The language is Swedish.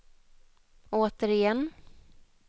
återigen